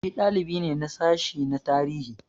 Shi dalibi ne na sashi na tarihi.